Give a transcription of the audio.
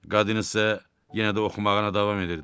Qadın isə yenə də oxumağına davam edirdi.